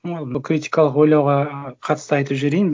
бұл критикалық ойлауға қатысты айтып жіберейін